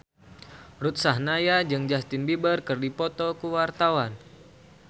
Ruth Sahanaya jeung Justin Beiber keur dipoto ku wartawan